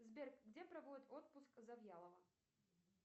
сбер где проводит отпуск завьялова